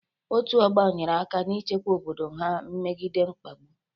Otu ọgbo nyere aka na-ichekwa obodo ha megide mwakpo.